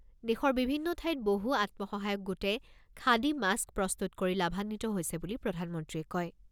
দেশৰ বিভিন্ন ঠাইত বহু আত্মসহায়ক গোটে খাদী মাস্ক প্ৰস্তুত কৰি লাভান্বিত হৈছে বুলি প্ৰধানমন্ত্ৰীয়ে কয়।